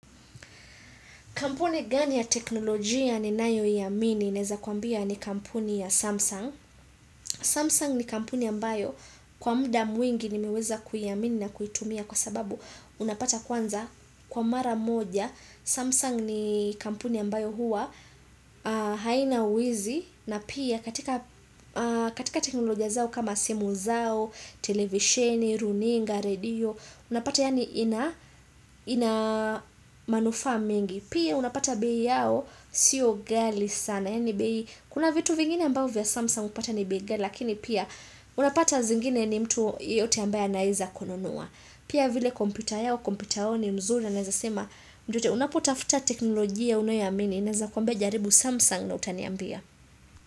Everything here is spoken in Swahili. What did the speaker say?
Kampuni gani ya teknolojia ninayo yamini neza kuambia ni kampuni ya Samsung. Samsung ni kampuni ambayo kwa mda mwingi nimeweza kuyamini na kuitumia kwa sababu unapata kwanza kwa mara moja. Samsung ni kampuni ambayo huwa haina wizi na pia katika teknolojia zao kama simu zao, televisheni, runinga, radio, unapata yaani ina manufa mengi. Pia unapata bei yao siyo gali sana Yani bei kuna vitu vingine ambavyo vya Samsung upata ni bei gali Lakini pia unapata zingine ni mtu yoyote ambaye anaeza konunua Pia vile kompyuta yao kompyuta yao ni mzuri na naezasema mtu yoyote unapotafuta teknolojia unoyamini Naeza kwambia jaribu Samsung na utaniambia.